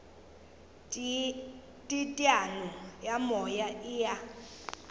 teteano ya moya e a